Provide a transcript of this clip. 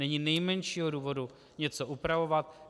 Není nejmenšího důvodu něco upravovat.